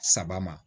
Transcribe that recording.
Saba ma